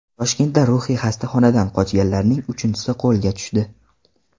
Toshkentda ruhiy xastaxonadan qochganlarning uchinchisi qo‘lga tushdi .